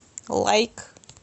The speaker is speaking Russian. лайк